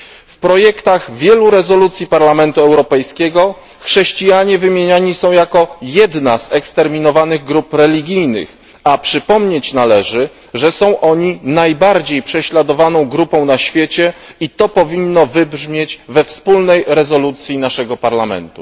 W projektach wielu rezolucji Parlamentu Europejskiego chrześcijanie wymieniani są jako jedna z eksterminowanych grup religijnych, a przypomnieć należy, że są oni najbardziej prześladowaną grupą na świecie i to powinno wybrzmieć we wspólnej rezolucji naszego Parlamentu.